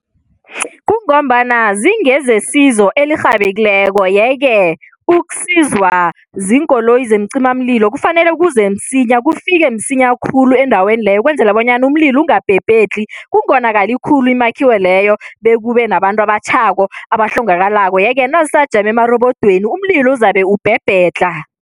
Kungombana zingezesizo elirhabekileko yeke ukusizwa ziinkoloyi zeemcimamlilo kufanele kuze msinya, kufike msinya khulu endaweni leyo ukwenzela bonyana umlilo ungabhebhedlhi, kungonakali khulu imakhiwo leyo bekube nabantu abatjhako, abahlongakalako yeke nazisajame amarobodweni, umlilo uzabe ubhebhedlha.